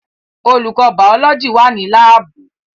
Olùkọ́ bàọ́lọ́jì wà ní láàbù